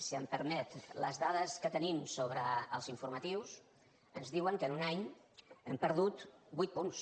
si em permet les dades que tenim sobre els informatius ens diuen que en un any hem perdut vuit punts